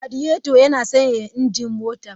Radiator yana sanyaya injin motar.